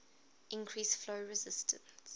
increase flow resistance